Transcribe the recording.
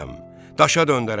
Daşa döndərəcəm!